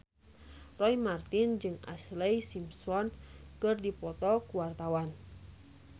Roy Marten jeung Ashlee Simpson keur dipoto ku wartawan